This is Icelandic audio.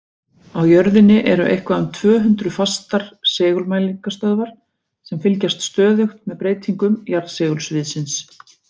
Á jörðinni eru eitthvað um tvö hundruð fastar segulmælingastöðvar sem fylgjast stöðugt með breytingum jarðsegulsviðsins.